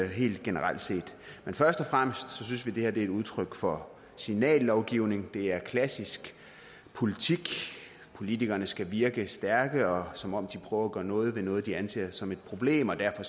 helt generelt set men først og fremmest synes vi at det er udtryk for signallovgivning det er klassisk politik politikerne skal virke stærke og som om de prøver at gøre noget ved noget de anser som et problem og derfor